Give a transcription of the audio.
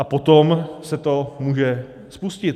A potom se to může spustit.